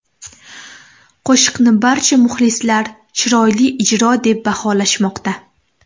Qo‘shiqni barcha muxlislar chiroyli ijro deb baholashmoqda.